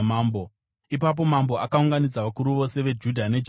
Ipapo mambo akaunganidza vakuru vose veJudha neJerusarema.